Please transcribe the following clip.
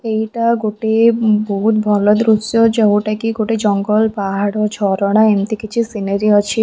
ଏଇଟା ଗୋଟେ ବହୁତ ଭଲ ଦୃଶ୍ୟ ଯୋଉଟାକି ଗୋଟେ ଜଙ୍ଗଲ୍‌ ପାହାଡ଼ ଝରଣା ଏମିତି କିଛି ସିନେରୀ ଅଛି ।